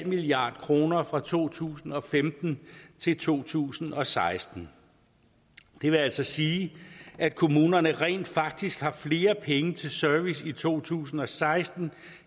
milliard kroner fra to tusind og femten til to tusind og seksten det vil altså sige at kommunerne rent faktisk har flere penge til service i to tusind og seksten